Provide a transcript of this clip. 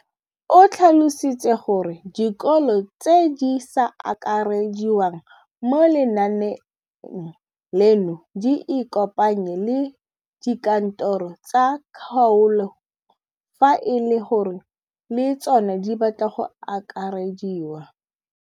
O tlhalositse gore dikolo tse di sa akarediwang mo lenaaneng leno di ikopanye le dikantoro tsa kgaolo fa e le gore le tsona di batla go akarediwa.